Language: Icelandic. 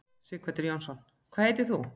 Sighvatur Jónsson: Hvað heitir þú?